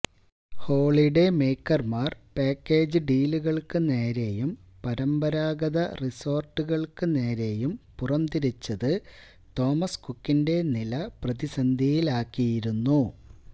holiday മേയ്ക്കര്മാര് package ഡീലുകള്ക്ക് നേരെയും പരമ്പരാഗത റിസോര്ട്ടുകള്ക്ക് നേരെയും പുറം തിരിച്ചത് തോമസ് കുക്കിന്റെ നില പ്രതിസന്ധിയിലാക്കിയിരുന്നു